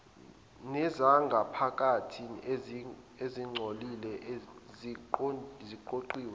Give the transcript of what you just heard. nezangaphakathi ezingcolile zigoqiwe